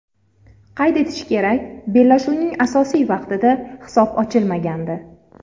Qayd etish kerak, bellashuvning asosiy vaqtida hisob ochilmagandi.